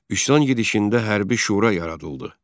Üsyan gedişində hərbi şura yaradıldı.